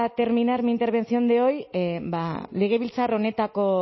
terminar mi intervención de hoy ba legebiltzar honetako